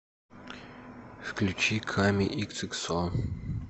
включи ками иксиксо